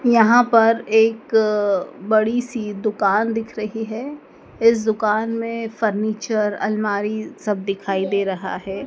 यहां पर एक बड़ी सी दुकान दिख रही है इस दुकान में फर्नीचर अलमारी सब दिखाई दे रहा हैं।